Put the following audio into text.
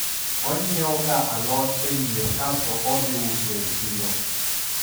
onyiewoga alot e mier kasto odhi uso e siro